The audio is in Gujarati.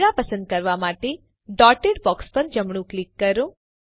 કૅમેરા પસંદ કરવા માટે ડોટેડ બોક્સ પર જમણું ક્લિક કરો